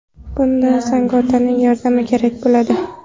Bunda Zagato‘ning yordami kerak bo‘ladi.